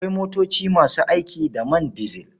Akwai motoci masu aiki da man dizil.